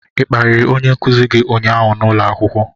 ị kparịrị onye nkuzi gị ụnyaahụ n'ụlọ akwụkwọ?